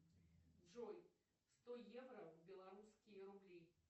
джой сто евро в белорусские рубли